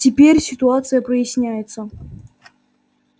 теперь ситуация проясняется